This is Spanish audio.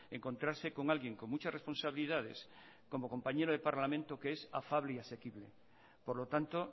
encontrarse con alguien con muchas responsabilidades como compañero de parlamento que es afable y asequible por lo tanto